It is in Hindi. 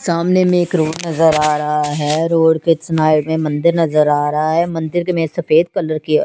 सामने में एक रोड नज़र आ रहा है रोड के सनाइड में में मंदिर नज़र आ रहा है मंदिर में सफ़ेद कलर की--